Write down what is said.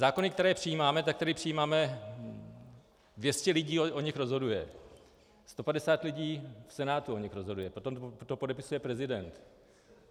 Zákony, které přijímáme, tak tady přijímáme, 200 lidí o nich rozhoduje, 150 lidí v Senátu o nich rozhoduje, potom to podepisuje prezident.